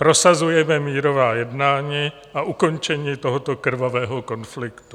Prosazujeme mírová jednání a ukončení tohoto krvavého konfliktu.